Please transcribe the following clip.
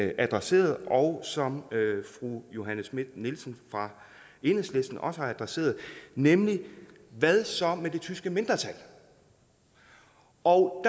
adresserede og som fru johanne schmidt nielsen fra enhedslisten også har adresseret nemlig hvad så med det tyske mindretal og